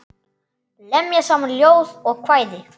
Lemja saman ljóð og kvæði.